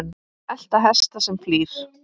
elta hest sem flýr